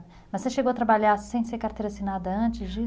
Mas você chegou a trabalhar sem ser carteira assinada antes disso?